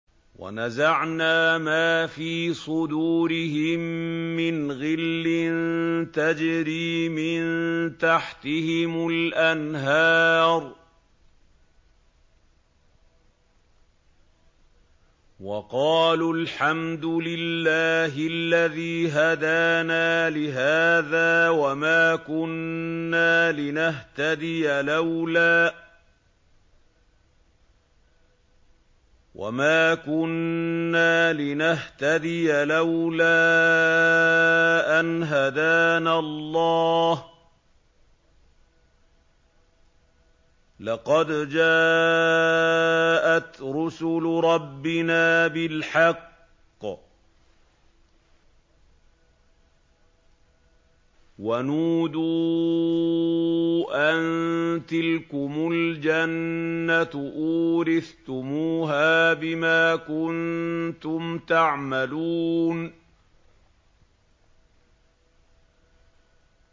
وَنَزَعْنَا مَا فِي صُدُورِهِم مِّنْ غِلٍّ تَجْرِي مِن تَحْتِهِمُ الْأَنْهَارُ ۖ وَقَالُوا الْحَمْدُ لِلَّهِ الَّذِي هَدَانَا لِهَٰذَا وَمَا كُنَّا لِنَهْتَدِيَ لَوْلَا أَنْ هَدَانَا اللَّهُ ۖ لَقَدْ جَاءَتْ رُسُلُ رَبِّنَا بِالْحَقِّ ۖ وَنُودُوا أَن تِلْكُمُ الْجَنَّةُ أُورِثْتُمُوهَا بِمَا كُنتُمْ تَعْمَلُونَ